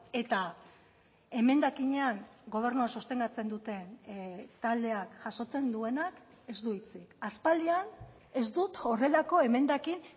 eta emendakinean gobernua sostengatzen duten taldeak jasotzen duenak ez du hitzik aspaldian ez dut horrelako emendakin